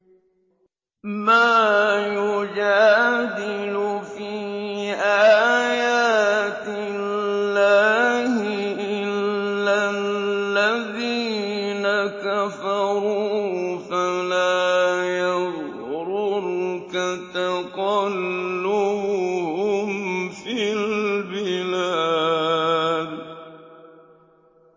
مَا يُجَادِلُ فِي آيَاتِ اللَّهِ إِلَّا الَّذِينَ كَفَرُوا فَلَا يَغْرُرْكَ تَقَلُّبُهُمْ فِي الْبِلَادِ